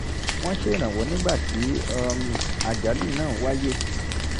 wọ́n ṣèrànwọ́ nígbà tí um àjálù náà wáyé